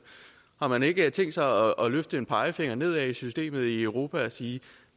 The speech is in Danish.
har man ikke tænkt sig at løfte en pegefinger nedad i systemet i europa og sige